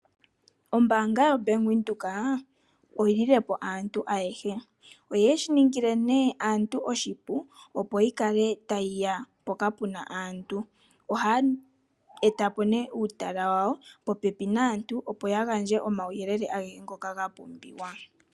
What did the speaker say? Oombaanga yoBank Windhoek oyili le po aantu ayehe oyeshi ningi le nee aantu oshipu opo yi kale ha yiya mpoka puna aanhu , ohayi eta ya po nee uutala wawo popepi naantu, opo ya gandje omauyelele agehe ngoka gapumbiwa.